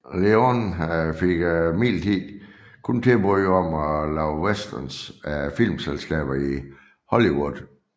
Leone fik imidlertid kun tilbud om at lave westerns af filmselskaberne i Hollywood